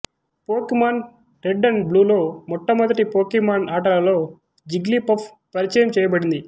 Pokémon red and బ్లూలో మొట్టమొదటి Pokemon ఆటలలో జిగ్లీపఫ్ పరిచయం చేయబడింది